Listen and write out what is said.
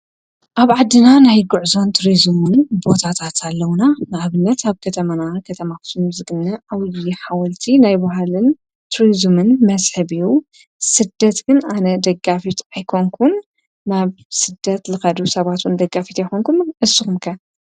ኣብ ዓዲና ናይ ጉዕዞን ቱሪዝምን ቦታታት ኣለውና። ንኣብነት ኣብ ከተማና ከተማ ኣክሱም ዝግነ ዓብዩ ሓወልቲን ናይ ባህሊን ቱሪዝምን መስሕብን እዩ። ስደት ግን ኣነ ደጋፊት ኣይኮንኩን ናብ ስዳት ዝከዱ ሰባት እውን ደጋፊት ኣይኮንኩን። ንስኩም ከ?